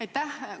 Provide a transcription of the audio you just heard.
Aitäh!